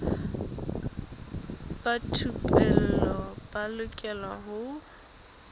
ba thupelo ba lokela ho